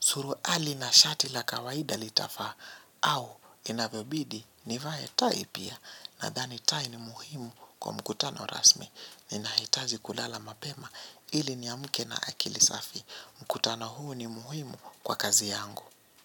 Suruali na shati la kawaida litafaa au inavyobidi nivae tai pia nadhani tai ni muhimu kwa mkutano rasmi. Ninahitaji kulala mapema ili niamke na akili safi. Mkutano huu ni muhimu kwa kazi yangu.